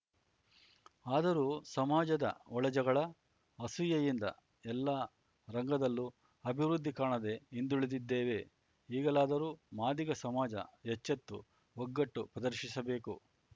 ಆದರೂ ಸಮಾಜದ ಒಳಜಗಳ ಅಸೂಯೆಯಿಂದ ಎಲ್ಲ ರಂಗದಲ್ಲೂ ಅಭಿವೃದ್ಧಿ ಕಾಣದೇ ಹಿಂದುಳಿದಿದ್ದೇವೆ ಈಗಲಾದರೂ ಮಾದಿಗ ಸಮಾಜ ಎಚ್ಚೆತ್ತು ಒಗ್ಗಟ್ಟು ಪ್ರದರ್ಶಿಸಬೇಕು